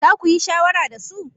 Za ku yi shawara da su?